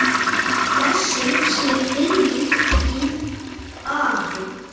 Blessuð sé minning þín, afi.